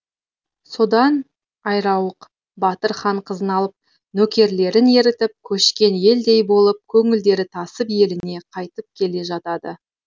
содан айрауық батыр хан қызын алып нөкерлерін ерітіп көшкен елдей болып көңілдері тасып еліне қайтып келе жатады